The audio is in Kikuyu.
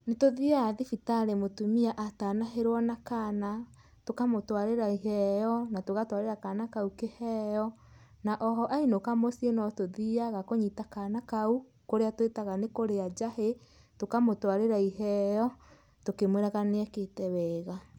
Nĩtũthiaga thibitarĩ mũtumia atanahĩrwo na kaana, tũkamũtwarĩra iheo na tũgatwarĩra kaana kau iheo. Na oho ainũka mũciĩ notũthiaga kũnyita kana kau kũrĩa twĩtaga nĩkũrĩa njahĩ. Tũkamũtwarĩra iheo tũkĩmwĩraga nĩekĩte wega.